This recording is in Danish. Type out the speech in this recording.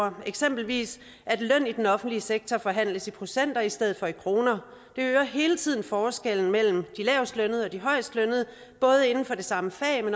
ind eksempelvis at løn i den offentlige sektor forhandles i procenter i stedet for i kroner det øger hele tiden forskellen mellem de lavestlønnede og de højestlønnede både inden for det samme fag